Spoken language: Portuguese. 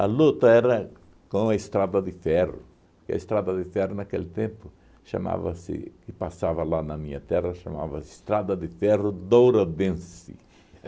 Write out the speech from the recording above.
luta era com a Estrada de Ferro, que a Estrada de Ferro naquele tempo chamava-se, que passava lá na minha terra, chamava-se Estrada de Ferro Dourodense.